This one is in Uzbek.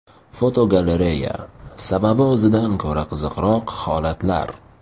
Fotogalereya: Sababi o‘zidan ko‘ra qiziqroq holatlar.